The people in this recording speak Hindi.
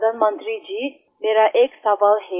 प्रधानमंत्री जी मेरा एक सवाल है